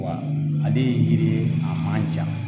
Wa ale ye yiri ye a man jan